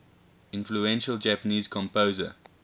influential japanese composer